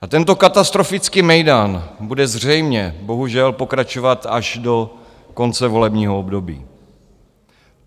A tento katastrofický mejdan bude zřejmě bohužel pokračovat až do konce volebního období.